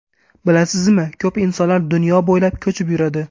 Bilasizmi, ko‘p insonlar dunyo bo‘ylab ko‘chib yuradi.